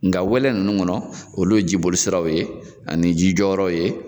Nga wɛlɛ ninnu kɔnɔ olu ye jiboli siraw ye ani ji jɔyɔrɔw ye.